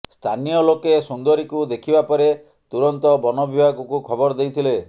ସ୍ଥାନୀୟ ଲୋକେ ସୁନ୍ଦରୀକୁ ଦେଖିବା ପରେ ତୁରନ୍ତ ବନବିଭାଗକୁ ଖବର ଦେଇଥିଲେ